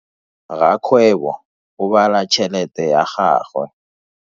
Rakgwebo o bala tšhelete ya gagwe.